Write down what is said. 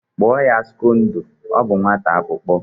Kpụọ ya Scdodo! ọ bụ nwata akwụkọ